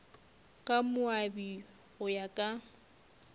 ka moabi go ya ka